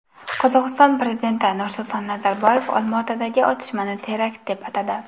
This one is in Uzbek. Qozog‘iston prezidenti Nursulton Nazarboyev Olmaotadagi otishmani terakt deb atadi .